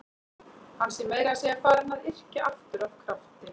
Hann sé meira að segja farinn að yrkja aftur af krafti.